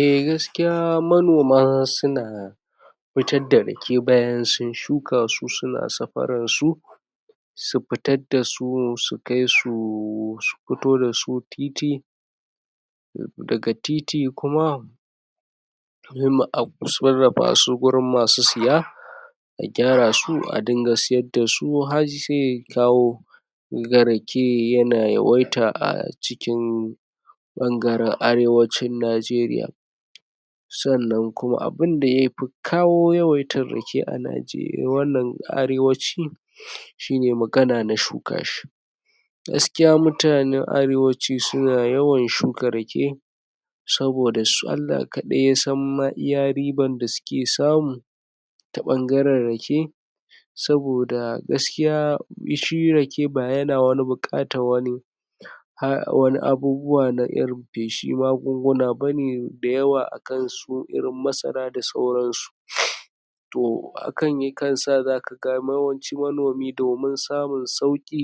eh gaskiya manoma suna fitar fa rake bayan sun shuka su suna safarar su su fitar dasu su kai su su fito dasu titi daga titi kuma sai mu ab sarrafa su gurin masu siya a kyara su a dinga sayar dasu har zai kawo kaga rake yana yawaita a a cikin bangaren arewacin nageriya sannan kuma abinda yafi kawo yawaita rake a nageriya wannan arewacin shine magana na shuka shi gaskiya mutanen arewaci suna yawan shuka rake saboda su Allah kadai yasan ma iya riban da suke samu ta bangaren rake saboda gaskiya shi rake ba yana wani bukatar wani wani abubuwa na irin feshin magunguna bane da yawa akan irn su masara da saurab su to hakan yakan sa zaka ga yawanci manomi domin samun sauki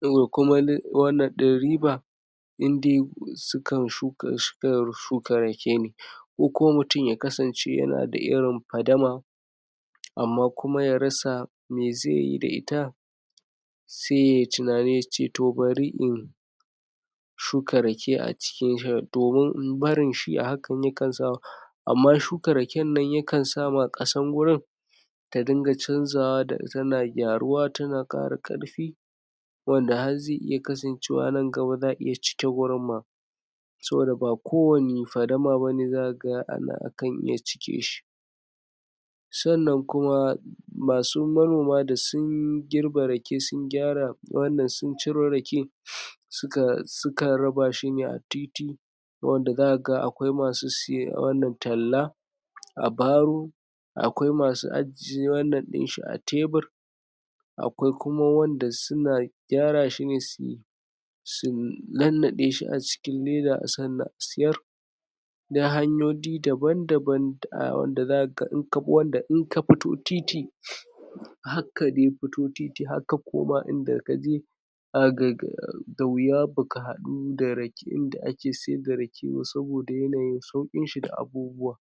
da kuma wannan din riba indai suka shuka rake ko kuma mutum ya kasan yana da irin padama amma kuma ya rasa me zaiyi da ita sai yayi tunani yace bari in shuka rake a ciki domin barin shi a hakan yakan sa amma shuka raken nan yakan sa kasan gurin ta dinga canzawa tana kyaruwa tana kara karfi wanda har zai iya kasancewa nan gaba za'a iya cike gurin ma saboda ba kowane fadama bane zaka ga ana kan iya cike shi sannan kuma masu manoma da sun girbe rake sun gyara wannan sun ciro rake sukan raba shine a titi wanda zaka ga akwai masu siye wannan talla a baro akwai masu ajiy wannan dinshi a tebur akwai kuma wanda suna kyara shine su su nannade shi a cikin keda sannan a sayar na hanyoyi daban daban da wanda zaka ga inka bi wanda inka fito titi har ka dai fito titi har ka koma inda kaje? da wuya baka hadu da raken da ake saida raken ba saboda yanayin saukin shi da abubuwa